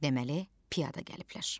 Deməli piyada gəliblər.